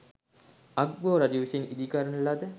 අග්බෝ රජු විසින් ඉදිකරන ලද